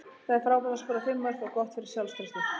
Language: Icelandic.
Það er frábært að skora fimm mörk og gott fyrir sjálfstraustið.